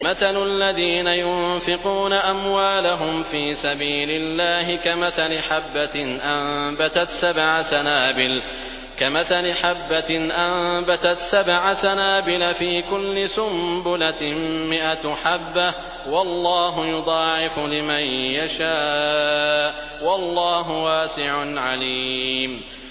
مَّثَلُ الَّذِينَ يُنفِقُونَ أَمْوَالَهُمْ فِي سَبِيلِ اللَّهِ كَمَثَلِ حَبَّةٍ أَنبَتَتْ سَبْعَ سَنَابِلَ فِي كُلِّ سُنبُلَةٍ مِّائَةُ حَبَّةٍ ۗ وَاللَّهُ يُضَاعِفُ لِمَن يَشَاءُ ۗ وَاللَّهُ وَاسِعٌ عَلِيمٌ